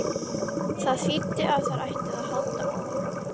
Það þýddi að þeir ætluðu að halda áfram.